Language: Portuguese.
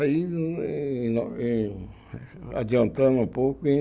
Aí, eh eh eh adiantando um pouco, em